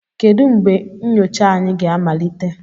Kedu mgbe nyocha anyị ga-amalite?